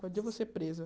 Quando eu vou ser presa.